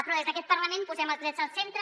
però des d’aquest parlament posem els drets al centre